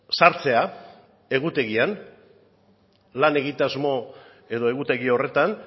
sartzea egutegian lan egitasmo edo egutegi horretan